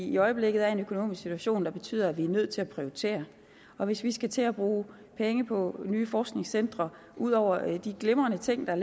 i øjeblikket er i en økonomisk situation der betyder at vi er nødt til at prioritere og hvis vi skal til at bruge penge på nye forskningscentre ud over de glimrende ting der